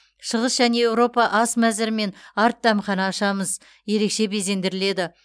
шығыс және еуропа ас мәзірімен арт дәмхана ашамыз ерекше безендіріледі